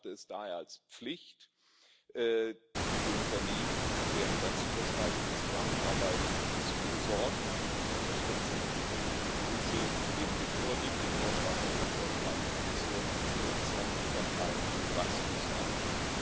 Ich betrachte es daher als Pflicht, für die Unternehmen und deren grenzüberschreitendende Zusammenarbeit zu sorgen und diese zu unterstützen, und ich begrüße neben dem vorliegenden Vorschlag auch den Vorschlag zur Nutzung von KMU Wachstumsmärkten.